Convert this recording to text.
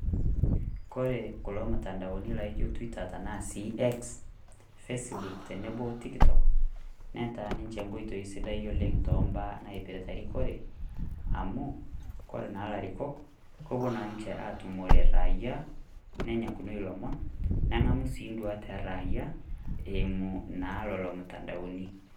Kore kulo mutandaoni laaijo twitter tanaa si x, Facebook tenebo Tiktok , netaa ninche nkoitoi sidai oleng' toombaa naipirta erikore, amu kore naa ilarikok, kepuo naa ninche aatumore raia nenyakunoi ilomon, neng'amu sii induaat eraia eimu naa lelo mutandaoni